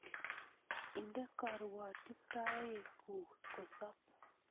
Inde karuatitoet ngung kosob